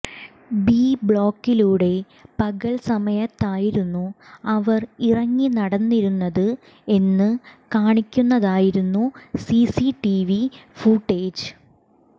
B ബ്ളോക്കിലുടെ പകൽ സമയത്തതായിരുന്നു അവർ ഇറങ്ങി നടന്നിരുന്നത് എന്നു കാണിക്കുന്നതായിരുന്നു C C T V footage